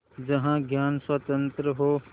जहाँ ज्ञान स्वतन्त्र हो